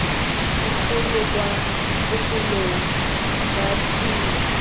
dipholo kwa bofelong ba tiro